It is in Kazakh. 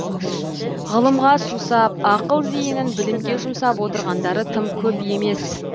ғылымға сусап ақыл зейінін білімге жұмсап отырғандары тым көп емес